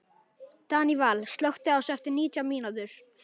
Daníval, slökktu á þessu eftir nítján mínútur.